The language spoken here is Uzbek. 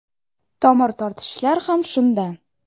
Tomir tortishishlar ham shundan.